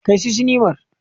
Kai su sinimar.